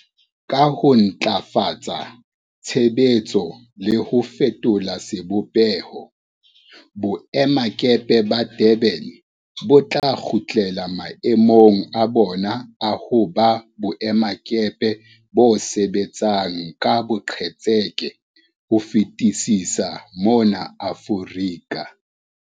Ka ho ntlafatsa tshebetso le ho fetola sebopeho, boemakepe ba Durban bo tla kgutlela mae mong a bona a ho ba boemakepe bo sebetsang ka boqetseke bo fetisisang mona Aforika.